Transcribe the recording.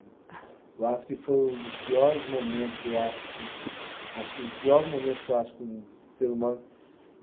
Eu acho que foi um dos piores momentos, eu acho co, acho que o pior momento que eu acho que um ser humano.